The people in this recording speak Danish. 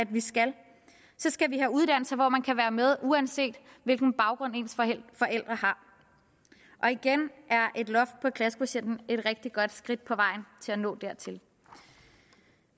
vi skal så skal vi have uddannelser hvor man kan være med uanset hvilken baggrund ens forældre har og igen er et loft på klassekvotienten et rigtig godt skridt på vejen til at nå dertil